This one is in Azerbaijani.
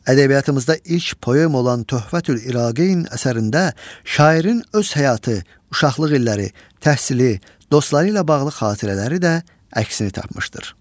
Ədəbiyyatımızda ilk poema olan Töhvətül İraqeyn əsərində şairin öz həyatı, uşaqlıq illəri, təhsili, dostları ilə bağlı xatirələri də əksini tapmışdır.